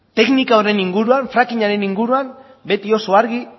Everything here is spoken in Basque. teknika horren inguruan fracking aren inguruan beti oso argi